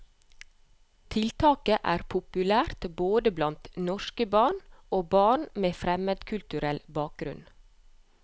Tiltaket er populært både blant norske barn og barn med fremmedkulturell bakgrunn.